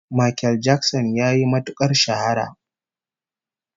Makel Jakson yayi matukar shahara